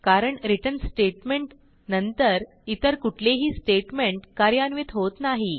कारण return statement नंतर इतर कुठलेही स्टेटमेंट कार्यान्वित होत नाही